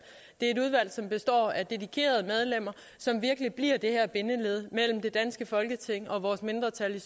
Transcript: som består af dedikerede medlemmer som virkelig bliver det her bindeled mellem det danske folketing og vores mindretal i